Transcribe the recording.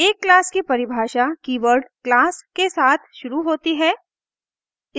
एक class की परिभाषा कीवर्ड क्लास के साथ शुरू होती है